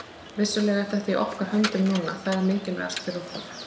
Vissulega er þetta í okkar höndum núna, það er mikilvægast fyrir okkur.